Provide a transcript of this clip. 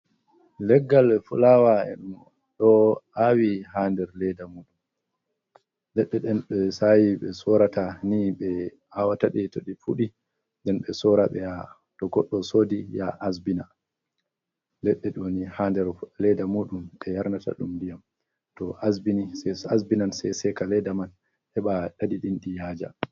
Leggal be fulaawa ɗo aawi haa nder leeda mum. Leɗɗe ɗen ɓe ɗo saawi, ɓe sorata ni. Be to goɗɗo soodi yaha asbina haa der ledda muɗum. Ɓe yarnata ɗum ndiyam asbinan, say seeka leeda man heɓa ki yaaja.